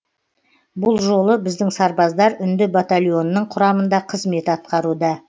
бұл жолы біздің сарбаздар үнді батальонының құрамында қызмет атқаруда